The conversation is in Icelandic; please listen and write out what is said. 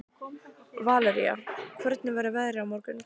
Valería, hvernig verður veðrið á morgun?